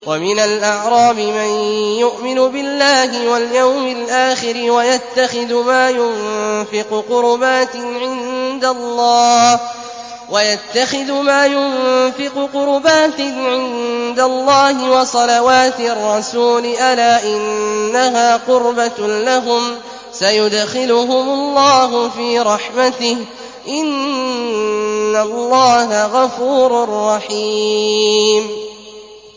وَمِنَ الْأَعْرَابِ مَن يُؤْمِنُ بِاللَّهِ وَالْيَوْمِ الْآخِرِ وَيَتَّخِذُ مَا يُنفِقُ قُرُبَاتٍ عِندَ اللَّهِ وَصَلَوَاتِ الرَّسُولِ ۚ أَلَا إِنَّهَا قُرْبَةٌ لَّهُمْ ۚ سَيُدْخِلُهُمُ اللَّهُ فِي رَحْمَتِهِ ۗ إِنَّ اللَّهَ غَفُورٌ رَّحِيمٌ